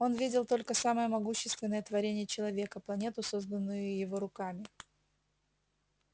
он видел только самое могущественное творение человека планету созданную его руками